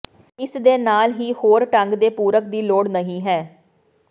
ਇਸ ਦੇ ਨਾਲ ਹੀ ਹੋਰ ਢੰਗ ਦੇ ਪੂਰਕ ਦੀ ਲੋੜ ਨਹੀ ਹੈ